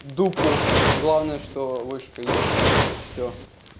дупу главное что вышка есть и всё